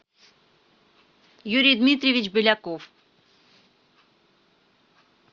юрий дмитриевич беляков